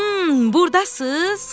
Hmm, burdasız?